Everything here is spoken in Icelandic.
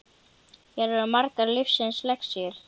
Hér eru margar lífsins lexíur.